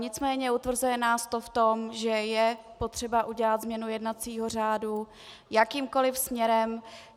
Nicméně utvrzuje nás to v tom, že je potřeba udělat změnu jednacího řádu jakýmkoli směrem.